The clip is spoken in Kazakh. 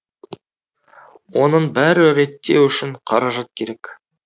оның бәрі реттеу үшін қаражат керек